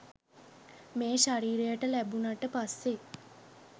මේ ශරීරයට ලැබුණට පස්සේ